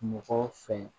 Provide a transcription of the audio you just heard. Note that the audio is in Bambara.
Mɔgɔw fɛ